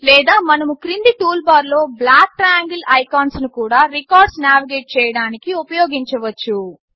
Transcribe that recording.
లేదా మనము క్రింది టూల్బార్లో బ్లాక్ ట్రయాంగిల్ ఐకాన్స్ను కూడా రికార్డ్స్ నావిగేట్ చేయడానికి ఉపయోగించవచ్చు